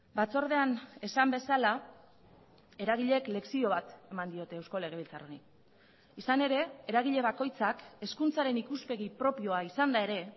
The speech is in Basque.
batzordean esan bezala eragileek lezio bat eman diote eusko legebiltzar honi izan ere eragile bakoitzak hezkuntzaren ikuspegi propioa izanda ere